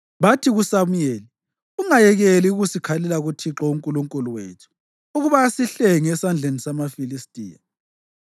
Bathi kuSamuyeli, “Ungayekeli ukusikhalela kuThixo uNkulunkulu wethu ukuba asihlenge esandleni samaFilistiya.”